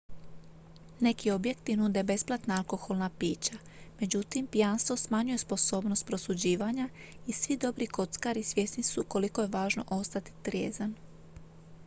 neki objekti nude besplatna alkoholna pića međutim pijanstvo smanjuje sposobnost prosuđivanja i svi dobri kockari svjesni su koliko je važno ostati trijezan